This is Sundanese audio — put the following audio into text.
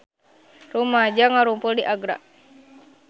Rumaja ngarumpul di Agra